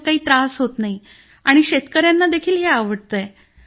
मग काही त्रास होत नाही आणि शेतकऱ्यांना देखील हे आवडतंय